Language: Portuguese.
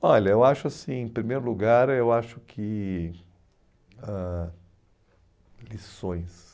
Olha, eu acho assim, em primeiro lugar, eu acho que ãh lições.